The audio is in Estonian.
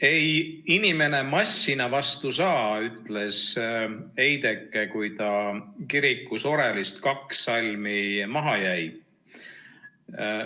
Ei inimene massina vastu saa, ütles eideke, kui ta kirikus orelist kaks salmi maha jäi.